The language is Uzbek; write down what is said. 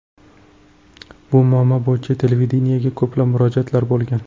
Bu muammo bo‘yicha televideniyega ko‘plab murojaatlar bo‘lgan.